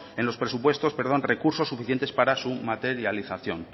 en los presupuestos recursos suficientes para su materialización